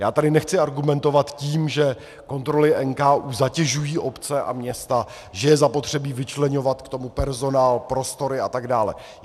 Já tady nechci argumentovat tím, že kontroly NKÚ zatěžují obce a města, že je zapotřebí vyčleňovat k tomu personál, prostory a tak dále.